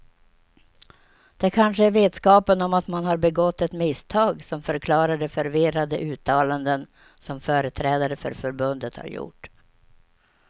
Det kanske är vetskapen om att man har begått ett misstag som förklarar de förvirrade uttalanden som företrädare för förbundet har gjort.